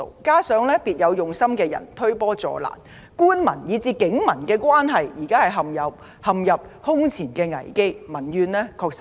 加上別有用心的人推波助瀾，官民以至警民關係現正陷入空前危機，民怨確實巨大。